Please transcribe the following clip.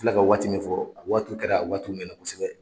I filɛ ka waati min fɔ , a waati kɛra a waati mɛnna kosɛbɛ.